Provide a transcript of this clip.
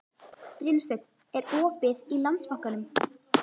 Brynsteinn, er opið í Landsbankanum?